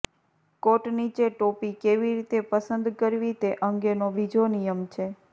કોટ નીચે ટોપી કેવી રીતે પસંદ કરવી તે અંગેનો બીજો નિયમ છે